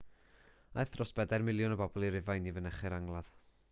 aeth dros bedair miliwn o bobl i rufain i fynychu'r angladd